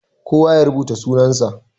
Kowa ya rubuta sunan sa.